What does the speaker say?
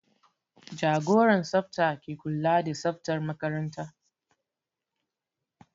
Jagoran tsafta ke kula da tsaftar makaranta